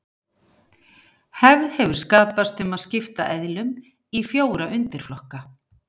Hefð hefur skapast um að skipta eðlum í fjóra undirflokka.